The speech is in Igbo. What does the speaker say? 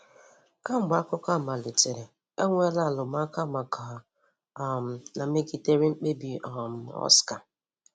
Kemgbe akụkọ a malitere, enweela arụmụka maka um na megidere mkpebi um Oscar.